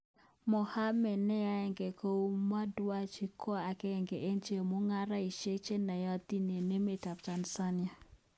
Mohammed ,nenayaat kou mo dewji, konagenge en chemugaraishek chenayati en emet ap. tanzania.